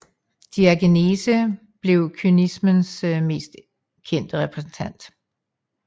Diogenes blev kynismens mest kendte repræsentant